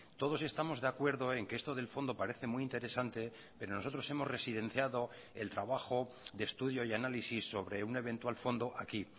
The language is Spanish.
todos estamos de acuerdo en que esto del fondo parece muy interesante pero nosotros hemos residenciado el trabajo de estudio y análisis sobre un eventual fondo aquí